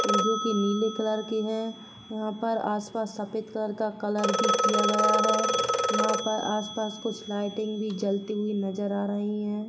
जो की नीले कलर के हैं वहां पर आसपास सफेद कलर का कलर भी किया गया है यहां पर आसपास कुछ लाइटिंग भी जलती हुई नजर आ रही है।